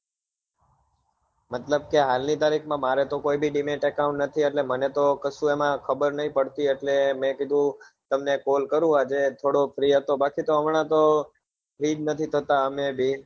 મતલબ કે હાલ ની તરીક માં મારે તો કોઈ ભી dimet account નથી એટલે મને તો કશું એમાં ખબર નહિ પડતી એટલે મેં કીધું તમને call કરું આજે થોડો free હતો બાકી તો હમણાં તો free જ નથી થતા અમે બે